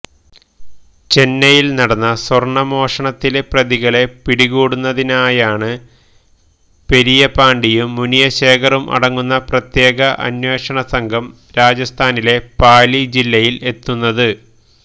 ചെന്നൈയില് നടന്ന സ്വര്ണ മോഷണത്തിലെ പ്രതികളെ പിടികൂടുന്നതിനായാണ് പെരിയപാണ്ടിയും മുനിശേഖറും അടങ്ങുന്ന പ്രത്യേക അന്വേഷണസംഘം രാജസ്ഥാനിലെ പാലി ജില്ലയില് എത്തുന്നത്